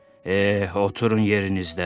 Eh, oturun yerinizdə!